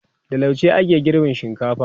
da lauje ake girban shinkafa